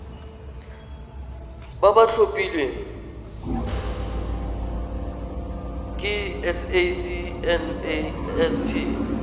ba ba tlhophilweng ke sacnasp